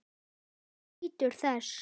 Helgi nýtur þess.